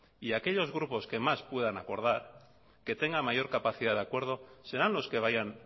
y aquellos grupos que más puedan acordar que tengan mayor capacidad de acuerdo serán los que vayan